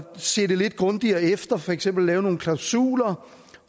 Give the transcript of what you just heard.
se det lidt grundigere efter for eksempel lave nogle klausuler